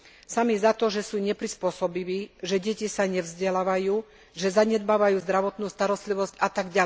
Sami za to, že sú neprispôsobiví, že deti sa nevzdelávajú, že zanedbávajú zdravotnú starostlivosť atď.